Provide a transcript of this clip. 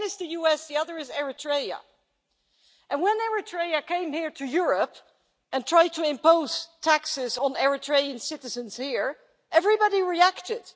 One is the US, the other is Eritrea, and when Eritrea came here to Europe and tried to impose taxes on Eritrean citizens here, everybody reacted.